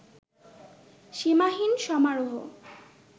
সীমাহীন সমারোহ